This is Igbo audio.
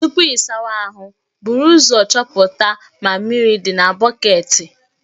Tupu ị sawa ahụ, buru ụzọ chọpụta ma mmiri dị na bọketi